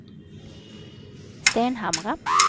Stenhamra